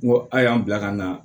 N ko a y'an bila ka na